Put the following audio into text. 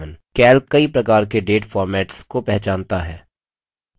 calc कई प्रकार के date formats को पहचानता है